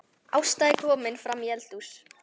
Ásta er komin framí eldhús.